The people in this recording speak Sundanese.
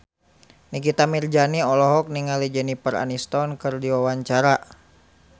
Nikita Mirzani olohok ningali Jennifer Aniston keur diwawancara